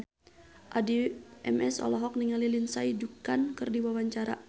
Addie MS olohok ningali Lindsay Ducan keur diwawancara